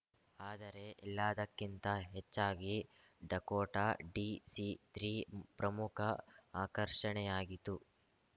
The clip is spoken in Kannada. ಆದರೆ ಎಲ್ಲದಕ್ಕಿಂತ ಹೆಚ್ಚಾಗಿ ಡಕೋಟಾ ಡಿಸಿತ್ರೀ ಪ್ರಮುಖ ಆಕರ್ಷಣೆಯಾಗಿತು